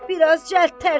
Biraz cəld tərpən.